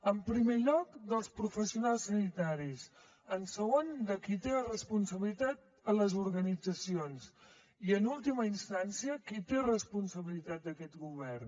en primer lloc dels professionals sanitaris en segon de qui en té la responsabilitat a les organitzacions i en última instància qui té responsabilitat d’aquest govern